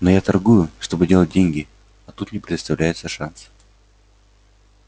но я торгую чтобы делать деньги а тут мне предоставляется шанс